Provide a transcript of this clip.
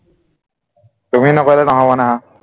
তুমি নকৰিলে নহব না